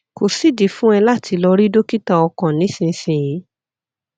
kò sídìí fún ẹ láti lọ rí dókítà ọkàn nísinsìnyí